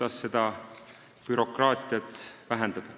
Toomas Kivimägi.